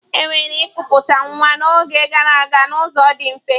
E mere ịkụputa nwa n'oge gara aga n'ụzọ dị mfe.